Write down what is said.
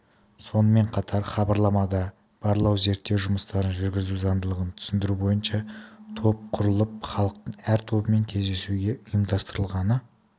сонымен қатар хабарламада барлау-зерттеу жұмыстарын жүргізу заңдылығын түсіндіру бойынша топ құрылып халықтың әр тобымен кездесу ұйымдастырылғаны